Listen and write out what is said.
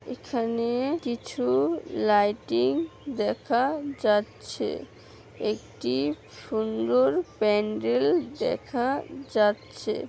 এখানে কিছু লাইটিং দেখা যাচ্ছে। একটি সুন্দর প্যান্ডেল দেখা যাচ্ছে।